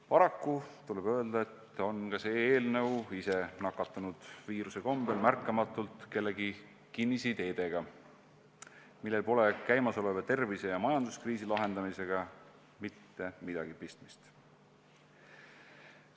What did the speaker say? Paraku tuleb öelda, et on ka see eelnõu ise nakatunud viiruse kombel märkamatult kellegi kinnisideedega, millel pole käimasoleva tervise- ja majanduskriisi lahendamisega mitte midagi pistmist.